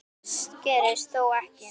Það gerðist þó ekki.